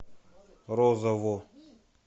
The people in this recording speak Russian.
розову